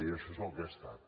i això és el que he estat